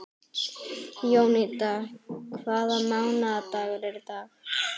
Jónída, hvaða mánaðardagur er í dag?